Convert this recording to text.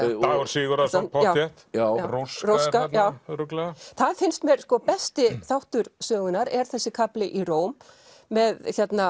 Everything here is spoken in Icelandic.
Dagur Sigurðarson pottþétt róska örugglega það finnst mér besti þáttur sögunnar þessi kafli í Róm með